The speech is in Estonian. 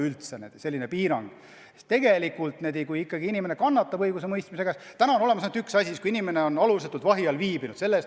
Kui ikkagi inimene kannatab õigusemõistmise käigus, siis praegu on hüvitis olemas ainult ühe asja eest: selle eest, kui inimene on alusetult vahi all viibinud.